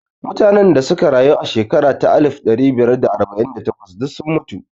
Mutanen da auka rayu a shekara ta alif ɗari biyar da arba'in da takwas duk sun mutu